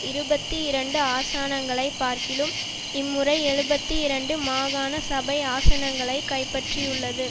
இருபத்தி இரண்டு ஆசானங்களைப் பார்க்கிலும் இம்முறை எழுபத்தி இரண்டு மாகாண சபை ஆசனங்களை கைப்பற்றியுள்ளது